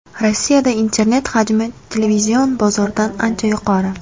Rossiyada internet hajmi televizion bozordan ancha yuqori.